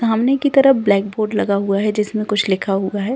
सामने की तरफ ब्लैक बोर्ड लगा हुआ है जिसमें कुछ लिखा हुआ है।